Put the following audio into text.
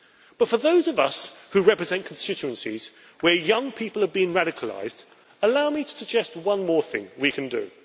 But for those of us who represent constituencies where young people have been radicalised, allow me to suggest one more thing we can do.